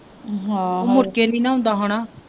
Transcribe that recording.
ਉਹ ਮੁੜਕੇ ਨਹੀਂ ਨਾ ਆਉਂਦਾ ਹੋਣਾ